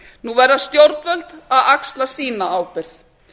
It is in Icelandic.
nú verða stjórnvöld að axla sína ábyrgð